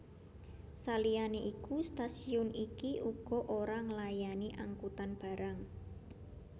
Saliyane iku stasiun iki uga ora nglayani angkutan barang